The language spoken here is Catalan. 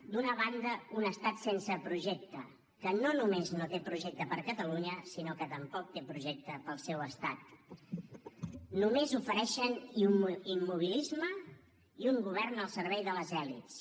d’una banda un estat sense projecte que no només no té projecte per a catalunya sinó que tampoc té projecte per al seu estat només ofereixen immobilisme i un govern al servei de les elits